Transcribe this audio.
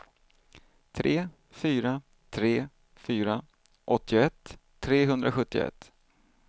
tre fyra tre fyra åttioett trehundrasjuttioett